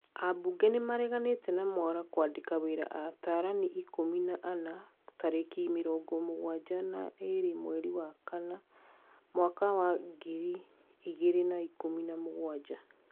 Ambunge nĩmareganĩte na Mwaura kwandĩka wĩra atarani ikũmi na anana tarĩki mĩrongo mũgwanja na ĩrĩ mweri wa kana mwaka wa ngiri igĩrĩ na ikũmi na mũgwanja